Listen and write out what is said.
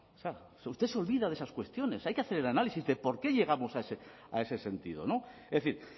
usted se olvida de esas cuestiones hay que hacer el análisis de por qué llegamos a ese sentido es decir